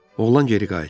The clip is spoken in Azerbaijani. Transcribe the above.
Oğlan geri qayıtdı.